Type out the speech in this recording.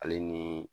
Ale ni